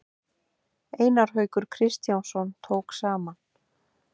Einar Haukur Kristjánsson tók saman.